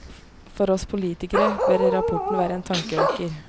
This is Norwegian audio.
For oss politikere bør rapporten være en tankevekker.